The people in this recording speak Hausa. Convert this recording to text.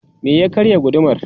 me ya karya gudumar?